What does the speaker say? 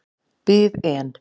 Bið en.